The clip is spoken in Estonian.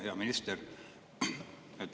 Hea minister!